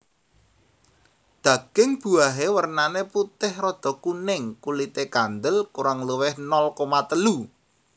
Daging buahé wèrnané putih rada kuning kulité kandel kurang luwih nol koma telu